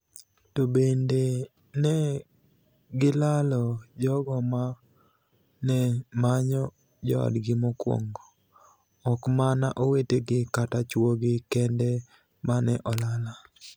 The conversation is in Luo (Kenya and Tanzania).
To benide ni e gilalo jogo ma ni e maniyo joodgi mokwonigo, ok mania owetegi kata chwogi kenide mani e olala.